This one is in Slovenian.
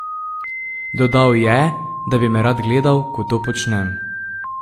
Dodal je, da bi me rad gledal, ko to počnem.